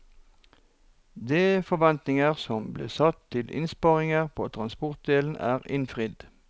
De forventninger som ble satt til innsparinger på transportdelen er innfridd.